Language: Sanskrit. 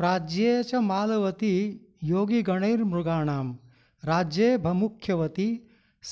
प्राज्ये च माल्यवति योगिगणैर्मृगाणां राज्ये भमुख्यवति